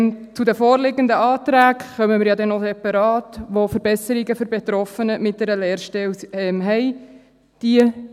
Zu den vorliegenden Anträgen, die Verbesserungen für Betroffene, die eine Lehrstelle haben, vorsehen, kommen wir ja noch separat zu sprechen.